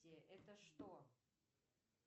это что